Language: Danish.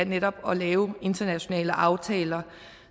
netop at lave internationale aftaler